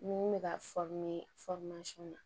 Ni ne bɛ ka na